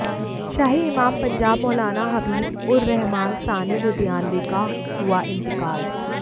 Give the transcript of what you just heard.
शाही इमाम पंजाब मौलाना हबीब उर रहमान सानी लुधियानवी का हुआ इंतकाल